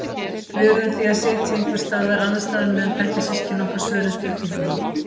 Við urðum því að sitja einhvers staðar annars staðar meðan bekkjarsystkini okkar svöruðu spurningunum.